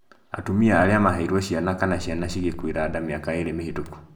Atumia arĩa maheirwo ciana kana ciana cigĩkuĩra nda mĩaka ĩĩrĩ mĩhetũku